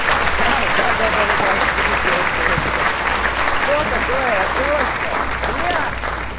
да да да да что такое отсрочка что такое отсрочка блядь